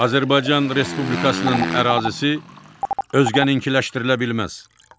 3. Azərbaycan Respublikasının ərazisi özkənikləşdirilə bilməz.